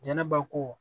Jɛnɛba ko